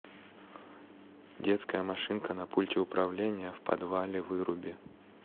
детская машинка на пульте управления в подвале выруби